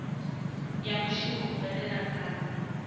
ya muvhuso u bveledza kana